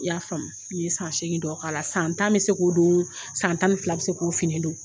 I y'a faamu n ye san segin dɔ k'ala san tan be se k'o don san tan ni fila be se k'o fini don